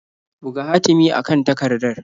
Buga hatimi a kan takardar.